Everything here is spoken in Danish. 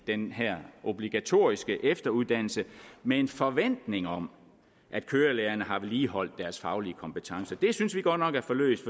den her obligatoriske efteruddannelse med en forventning om at kørelærerne har vedligeholdt deres faglige kompetencer det synes vi godt nok er for løst